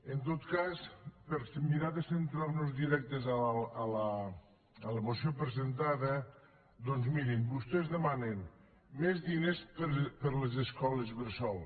en tot cas per mirar de centrar nos directes a la moció presentada doncs mirin vostès demanen més diners per a les escoles bressol